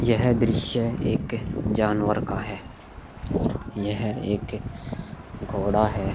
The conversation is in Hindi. यह दृश्य एक जानवर का है यह एक घोड़ा है।